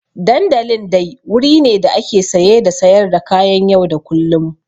Dandalin dai wuri ne da ake saye da sayar da kayan yau da kullum.